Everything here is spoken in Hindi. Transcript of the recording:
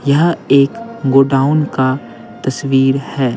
यह एक गो डाउन का तस्वीर है।